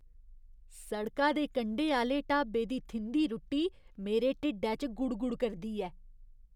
सड़का दे कंढे आह्‌ले ढाबे दी थिंधी रुट्टी मेरे ढिड्डै च गुड़गुड़ करदी ऐ।